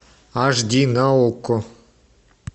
аш ди на окко